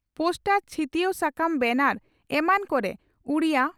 poster ᱪᱷᱤᱛᱭᱟᱹᱣ ᱥᱟᱠᱟᱢ ᱵᱮᱱᱟᱨ ᱮᱢᱟᱱ ᱠᱚᱨᱮ ᱩᱰᱤᱭᱟᱹ